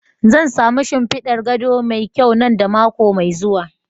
Zan sami shimfidar gado mai kyau nan da mako mai zuwa.